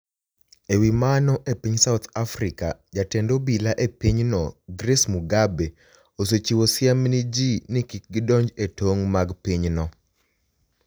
E wi mano, e piniy South Africa, jatend obila e piny no, Grace Mugabe, osechiwo siem ni e ji nii kik gidonij e tonig ' mag piny no.